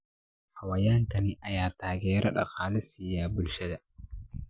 Xayawaankan ayaa taageero dhaqaale siiya bulshada.